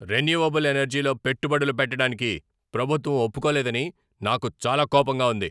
Renewable ఎనర్జీలో పెట్టుబడులు పెట్టడానికి ప్రభుత్వం ఒప్పుకోలేదని నాకు చాలా కోపంగా ఉంది.